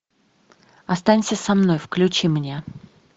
останься со мной включи мне